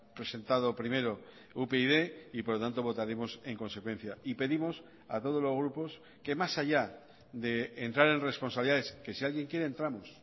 presentado primero upyd y por lo tanto votaremos en consecuencia y pedimos a todos los grupos que más allá de entrar en responsabilidades que si alguien quiere entramos